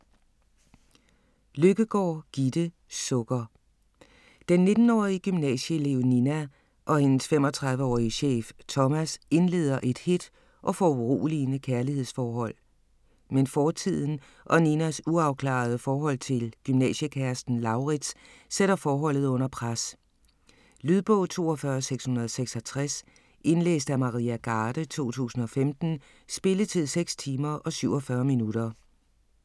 Løkkegaard, Gitte: Sukker Den 19-årige gymnasieelev Nina og hendes 35-årige chef, Thomas, indleder et hedt og foruroligende kærlighedsforhold, men fortiden, og Ninas uafklarede forhold til gymnasiekæresten Lauritz, sætter forholdet under pres. Lydbog 42666 Indlæst af Maria Garde, 2015. Spilletid: 6 timer, 47 minutter.